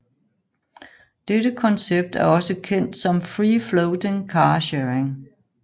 Dette koncept er også kendt som free floating car sharing